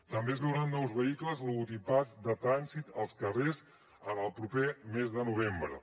també es veuran nous vehicles logotipats de trànsit als carrers en el proper mes de novembre